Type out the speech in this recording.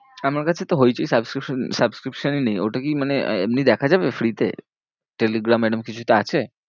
আমার কাছে তো হইচই subscription subscription ই নেই, ওটা কি মানে এমনি দেখা যাবে free তে? টেলিগ্রাম এরম কিছুতে আছে?